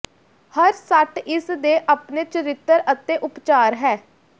ਹਰ ਸੱਟ ਇਸ ਦੇ ਆਪਣੇ ਚਰਿੱਤਰ ਅਤੇ ਉਪਚਾਰ ਹੈ